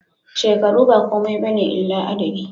Shekaru ba komai bane illa adadi